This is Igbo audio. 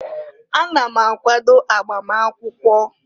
Ana m akwado agbam akwụkwọ.